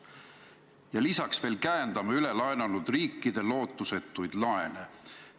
Ja lisaks veel käendame ülelaenanud riikide lootusetuid laene.